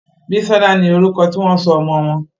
Bisola no orúkọ tí wón sọ ọmọ wón.